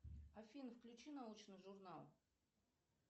афина включи научный журнал